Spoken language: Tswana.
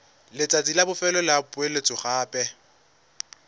letsatsi la bofelo la poeletsogape